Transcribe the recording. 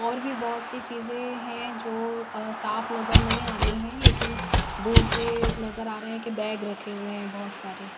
और भी बहुत सी चीजें हैं जो साफ नजर नहीं आ रही हैं लेकिन दूर से नजर आ रहा है कि बैग रखे हुए हैं बहुत सारे।